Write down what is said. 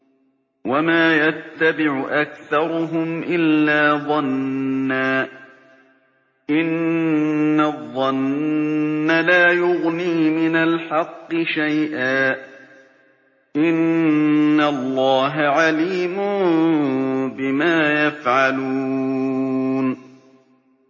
وَمَا يَتَّبِعُ أَكْثَرُهُمْ إِلَّا ظَنًّا ۚ إِنَّ الظَّنَّ لَا يُغْنِي مِنَ الْحَقِّ شَيْئًا ۚ إِنَّ اللَّهَ عَلِيمٌ بِمَا يَفْعَلُونَ